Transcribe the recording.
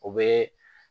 O bɛ